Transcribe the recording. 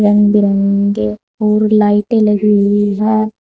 रंग बिरंगे और लाइटें लगी हुई है।